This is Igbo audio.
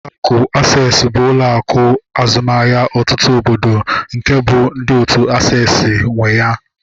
Ụlọ akụ Aksesị bụ ụlọ akụ azụmahịa ọtụtụ obodo nke ọ bụ ndị otu aksesị nwe ya